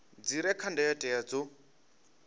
dzi re kha ndayotewa dzo